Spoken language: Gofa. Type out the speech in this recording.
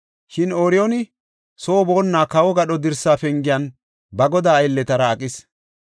Shin Ooriyooni soo boonna kawo gadho dirsa pengiyan ba godaa aylletara aqis.